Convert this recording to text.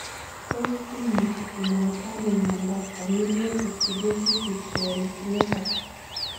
Tos imuchi kinyaita ano miondop familial exudative vitreoretinopathy